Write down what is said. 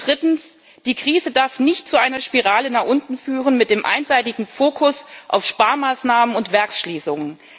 Drittens Die Krise darf nicht zu einer Spirale nach unten führen mit dem einseitigen Fokus auf Sparmaßnahmen und Werksschließungen.